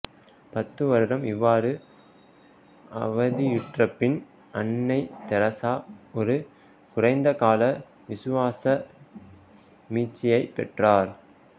பத்துவருடம் இவ்வாறு அவதியுற்றப்பின் அன்னை தெரேசா ஒரு குறைந்த கால விசுவாச மீட்சியை பெற்றார்